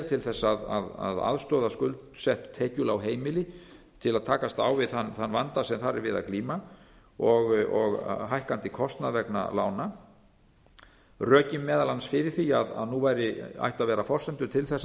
til þess að aðstoða skuldsett tekjulág heimili til að takast á við þann vanda sem þar er við að glíma og hækkandi kostnað vegna lána rökin fyrir því að nú ættu að vera forsendur til þess að